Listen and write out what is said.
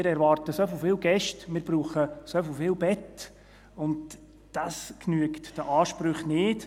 Wir erwarten so viele Gäste, wir brauchen so viele Betten, und dies genügt den Ansprüchen nicht.